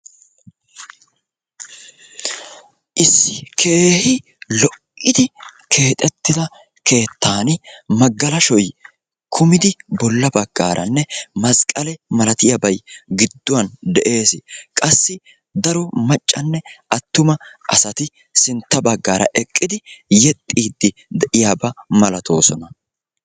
issi keehi lo'idi keexetida keettan magalashoy kumidi de'ees. appe sinta bagaara maca naati yexiidi de'oosona.